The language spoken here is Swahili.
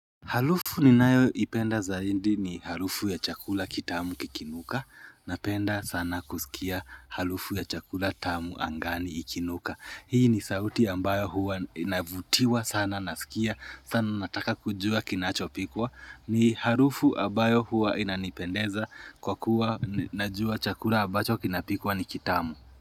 Halufu ni nayo ipenda zaindi ni halufu ya chakula kitamu kikinuka Napenda sana kusikia halufu ya chakula tamu angani ikinuka Hii ni sauti ambayo huwa inavutiwa sana nasikia sana nataka kujua kinachopikwa ni halufu abayo huwa inanipendeza kwa kuwa najua chakula abacho kinapikwa ni kitamu.